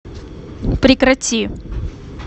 прекрати